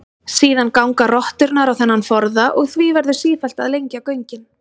Síðan ganga rotturnar á þennan forða og því verður sífellt að lengja göngin.